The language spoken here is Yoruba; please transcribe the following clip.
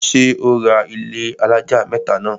ṣé ó ra ilẹ́ alájà mẹ́tà náà?